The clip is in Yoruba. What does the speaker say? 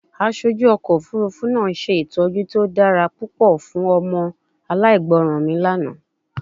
Aṣoju ọkọ ofurufu naa Se itọju ti o dara pupọ fun ọmọ alaigbọran mi lana